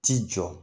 T'i jɔ